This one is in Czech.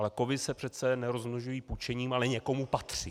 Ale kovy se přece nerozmnožují pučením, ale někomu patří.